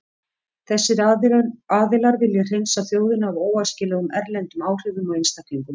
Þessir aðilar vilja hreinsa þjóðina af óæskilegum erlendum áhrifum og einstaklingum.